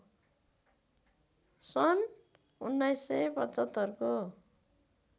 सन् १९७५ को